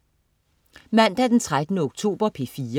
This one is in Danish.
Mandag den 13. oktober - P4: